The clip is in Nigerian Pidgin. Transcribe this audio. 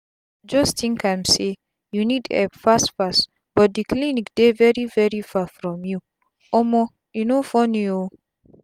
just think am say u need epp fast fast but d cliniydey veri veri far from u. omo e no funny o